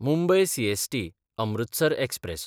Mumbai सीएसटी–अमृतसर express